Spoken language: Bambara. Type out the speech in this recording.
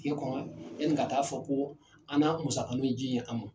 Kile kɔnɔ yani ka taa fɔ ko an na musaka min ji ye an mɔn.